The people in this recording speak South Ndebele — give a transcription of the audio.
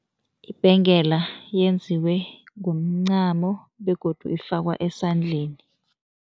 Ibhengela yenziwe ngomncamo begodu ifakwa esandleni.